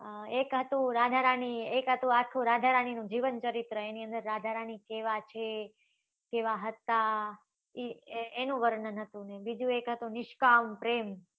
એક હતું રાધા રાણી એક હતું. આખું રાધા રાણી નું જીવન ચરિત્ર એની અંદર રાધા રાણી કેવા છે કેવા હતા એનું વર્ણન હતું ને બીજું એક હતું નીશ્કાન પ્રેમ